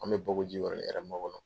An bɛ Bako Jikoroni Hɛrɛ Mankɔnɔ.